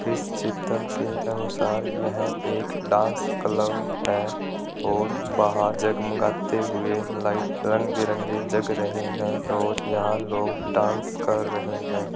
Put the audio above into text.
इस चित्र के अनुसार यह एक डांस कलब है और बहार जगमगाते हुए लाइट रंग बीरंगी जग रहे हैं और यहां लोग डास कर रहे है।